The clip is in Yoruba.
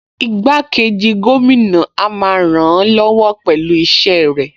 Igbákejì gómìnà a máa ràn-án lọ́wọ́ pẹ̀lú iṣẹ́ rẹ̀